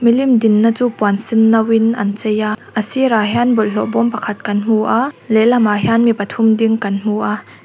milim dinna chu puan senno in an chei a sirah hian bawlhhlawh bawm pakhat kan hmu a lehlam ah hian mi pathum ding kan hmu a--